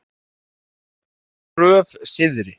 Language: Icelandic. Stóru Gröf Syðri